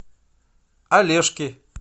олежки